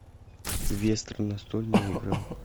вестерн настольная игра